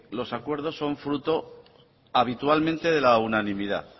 los acuerdos son fruto habitualmente de la unanimidad